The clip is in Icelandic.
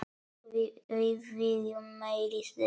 Við viljum meiri dögg!